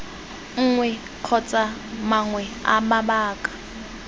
nngwe kgotsa mangwe a mabaka